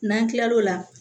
N'an kila l'o la